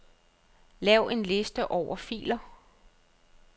Lav en liste over filer.